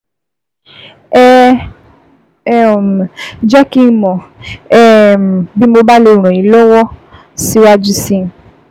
Ẹ um jẹ́ kí n mọ̀ um bí mo bá lè ràn yín lọ́wọ́ yín lọ́wọ́ síwájú sí i